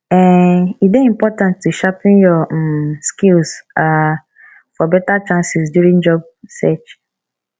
um e dey important to sharpen your um skills um for better chances during job search